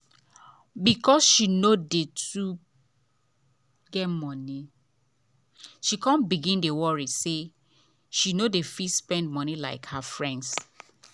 because she no too get money she come begin dey worry say she no dey fit spend like her friends.